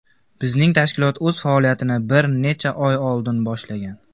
Bizning tashkilot o‘z faoliyatini bir necha oy oldin boshlagan.